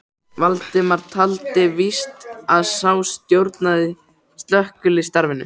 Valdimar taldi víst að sá stjórnaði slökkvistarfinu.